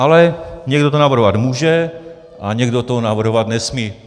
Ale někdo to navrhovat může a někdo to navrhovat nesmí.